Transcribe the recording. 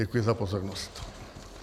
Děkuji za pozornost.